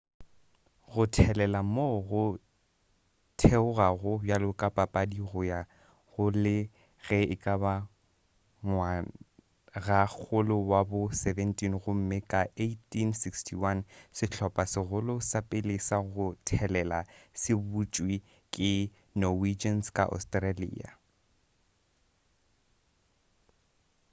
go thelela moo go theogelago bjalo ka papadi go ya go le ge ekaba ngwagakgolo wa bo 17 gomme ka 1861 sehlopha segolo sa pele sa go thelela se butšwe ke norwegians ka australia